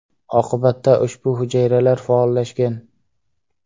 Oqibatda ushbu hujayralar faollashgan.